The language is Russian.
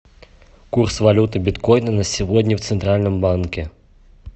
курс валюты биткоина на сегодня в центральном банке